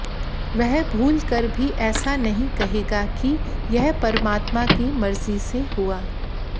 वह भूल कर भी ऐसा नहीं कहेगा कि यह परमात्मा की मर्जी से हुआ